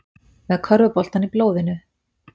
Með körfuboltann í blóðinu